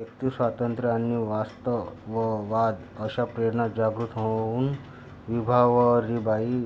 व्यक्तिस्वातंत्र्य आणि वास्तववाद अशा प्रेरणा जागृत होऊन विभावरीबाई